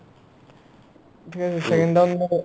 থিক আছে